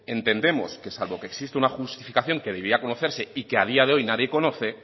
entendemos que salvo que exista una justificación que debía conocerse y que a día de hoy nadie conoce